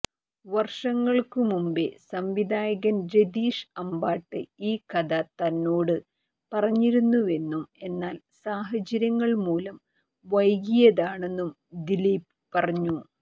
വർഷങ്ങൾക്കു മുമ്പേ സംവിധായകൻ രതീഷ് അമ്പാട്ട് ഈ കഥ തന്നോട് പറഞ്ഞിരുന്നുവെന്നും എന്നാൽ സാഹചര്യങ്ങൾ മൂലം വൈകിയതാണെന്നും ദിലീപ് പറഞ്ഞു